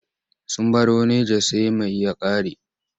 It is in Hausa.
Sun baro Naja sai mai ya ƙare.